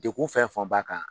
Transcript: Degun fɛn fɔn b'a kan